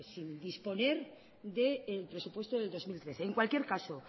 sin disponer del presupuesto del dos mil trece en cualquier caso